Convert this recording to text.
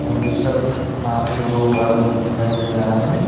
आगे दो आदमी भी दिखाई दे रहा है।